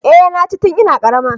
Eh na ci tun ina karama